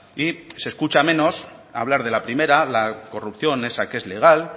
y se escucha menos hablar de la primera la corrupción esa que es legal